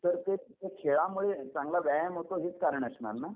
तर तो खेळामध्ये चांगला व्यायाम होतो हेच कारण असणार ना.